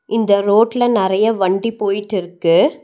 இந்த ரோட்ல நறைய வண்டி போய்ட்டுருக்கு.